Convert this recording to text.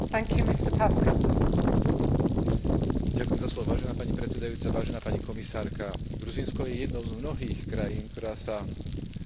Gruzínsko je jednou z mnohých krajín, ktorá sa odčlenila od Sovietskeho zväzu a na troskách bývalého Sovietskeho zväzu založila svoju budúcnosť.